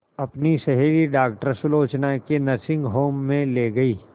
अपनी सहेली डॉक्टर सुलोचना के नर्सिंग होम में ली गई